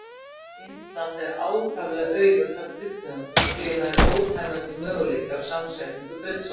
Indland er ákaflega auðugt af kryddtegundum og því eru nær ótæmandi möguleikar á samsetningu kryddsósa.